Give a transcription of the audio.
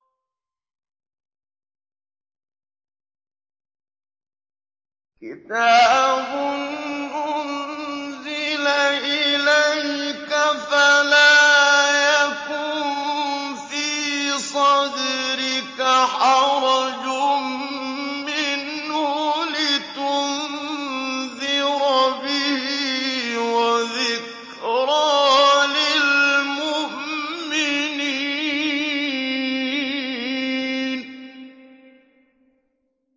كِتَابٌ أُنزِلَ إِلَيْكَ فَلَا يَكُن فِي صَدْرِكَ حَرَجٌ مِّنْهُ لِتُنذِرَ بِهِ وَذِكْرَىٰ لِلْمُؤْمِنِينَ